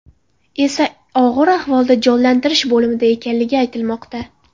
esa og‘ir ahvolda jonlantirish bo‘limida ekanligi aytilmoqda.